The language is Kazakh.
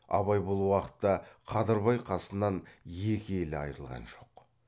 абай бұл уақытта қадырбай қасынан екі елі айрылған жоқ